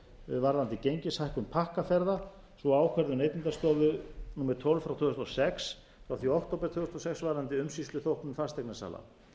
varðandi gengishækkun pakkaferða sem og ákvörðun neytendastofu númer tólf tvö þúsund og sex frá því í október tvö þúsund og sex varðandi umsýsluþóknun fasteignasala